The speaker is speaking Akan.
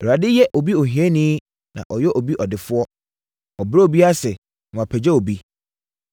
Awurade yɛ obi ohiani na wayɛ obi ɔdefoɔ; ɔbrɛ obi ase na wapagya obi.